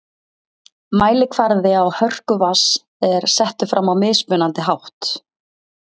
mælikvarði á hörku vatns er settur fram á mismunandi hátt